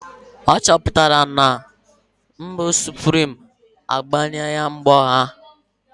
Achọpụtara m na nudu suprim agbanweela mkpọ ha.